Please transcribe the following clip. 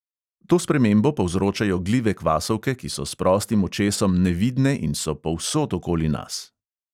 To spremembo povzročajo glive kvasovke, ki so s prostim očesom nevidne in so povsod okoli nas.